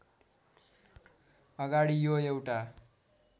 अगाडि यो एउटा